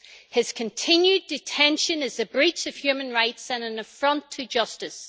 His continued detention is a breach of human rights and an affront to justice.